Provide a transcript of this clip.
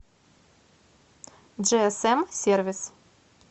джиэсэм сервис